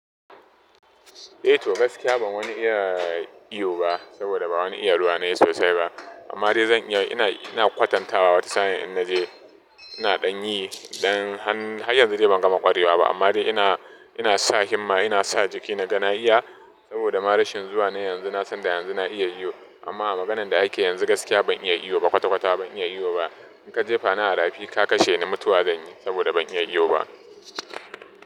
Eh to gaskiya ban wani iya iyo ba saboda ba wani iya ruwa ne sosai ba. Amma dai zan iya inayi, ina kwatanta wa wata sa'in in naje. Ina ɗan yi ɗan han, har yanzu dai ban gama ƙwarewa ba amma dai ina, ina sa himma ina sa jiki naga na iya saboda marashin zuwa na yanzu na san da yanzu na iya iyo. Amma a maganan da ake yanzu gaskiya ban iya iyo ba kwata kwata ban iya iyo ba. In ka je fa ni a rafi ka kashe ni mutuwa zan yi saboda ban iya iyo ba.